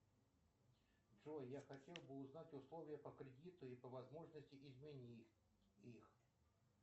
джой я хотел бы узнать условия по кредиту и по возможности изменить их